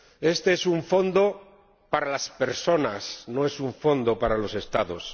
Este es un fondo para las personas, no es un fondo para los Estados.